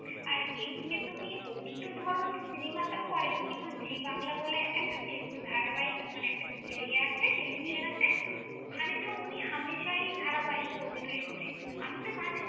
আর এদিকে তুমি উনি তো ধর সিনেমা তো করেন, কিন্তু জি বাংলা বলে একটা tele ধারাবাহিক মানে একটা ইয়ে~ আছে, television আছে, ওখানে তো উনি হামেশাই ধারাবাহিকে অভিনয় করে। আমি তো মাঝে মা~।